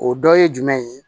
O dɔ ye jumɛn ye